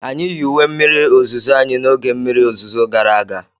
anyị yi uwe mmiri ozuzo anyị n'oge mmiri ozuzo gara aga.